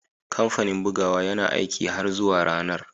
Kamfanin bugawa yana aiki har zuwa ranar